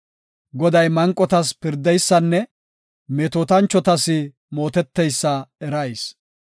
Goday manqotas pirdeysanne metootanchotas mooteteysa erayis.